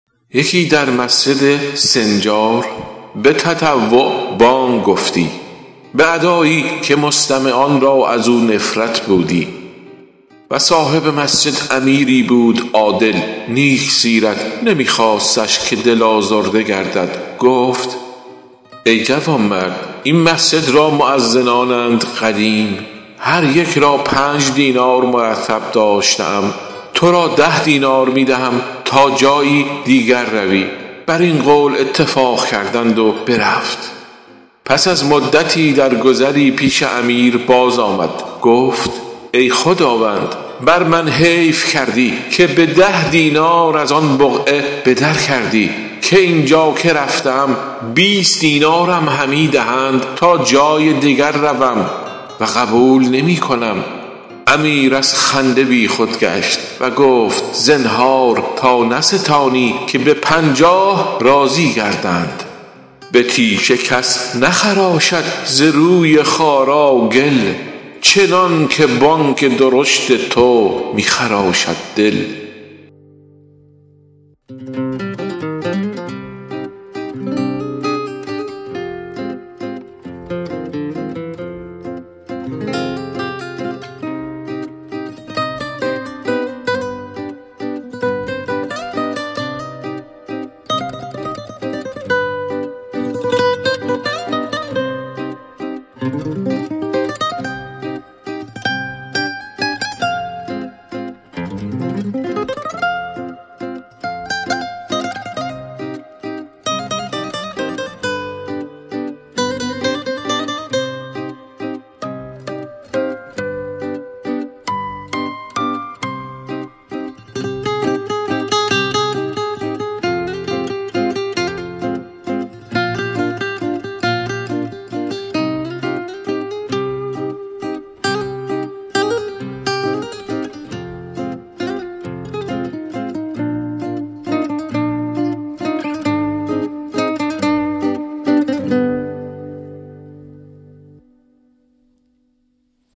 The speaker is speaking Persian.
یکی در مسجد سنجار به تطوع بانگ گفتی به ادایی که مستمعان را از او نفرت بودی و صاحب مسجد امیری بود عادل نیک سیرت نمی خواستش که دل آزرده گردد گفت ای جوانمرد این مسجد را مؤذنانند قدیم هر یکی را پنج دینار مرتب داشته ام تو را ده دینار می دهم تا جایی دیگر روی بر این قول اتفاق کردند و برفت پس از مدتی در گذری پیش امیر باز آمد گفت ای خداوند بر من حیف کردی که به ده دینار از آن بقعه به در کردی که این جا که رفته ام بیست دینارم همی دهند تا جای دیگر روم و قبول نمی کنم امیر از خنده بی خود گشت و گفت زنهار تا نستانی که به پنجاه راضی گردند به تیشه کس نخراشد ز روی خارا گل چنان که بانگ درشت تو می خراشد دل